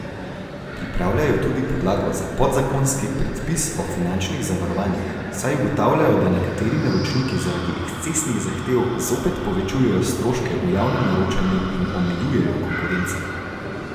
Pripravljajo tudi podlago za podzakonski predpis o finančnih zavarovanjih, saj ugotavljajo, da nekateri naročniki zaradi ekscesnih zahtev zopet povečujejo stroške v javnem naročanju in omejujejo konkurenco.